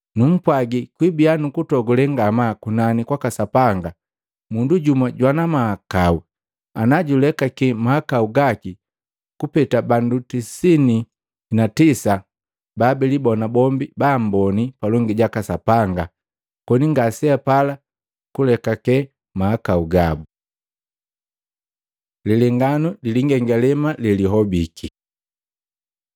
Numpwagi, kwibia nukutogule ngamaa kunani kwaka Sapanga mundu jumu jwana mahakau ana julekaki mahakau gaki kupeta bandu tisini na tisa babilibona bombi baamboni palongi jaka Sapanga koni ngaseapala kulekake mahakau gabu.” Lilenganu lilingengalema lelihobiki